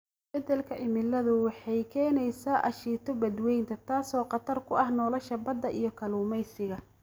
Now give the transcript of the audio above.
Isbeddelka cimiladu waxay keenaysaa aashito badweynta, taasoo khatar ku ah nolosha badda iyo kalluumaysiga.